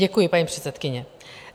Děkuji, paní předsedkyně.